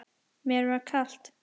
Mér var kalt.